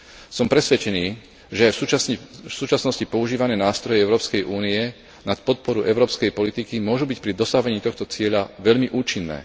Som presvedčený, že aj v súčasnosti používané nástroje Európskej únie na podporu európskej politiky, môžu byť pri dosahovaní tohto cieľa veľmi účinné.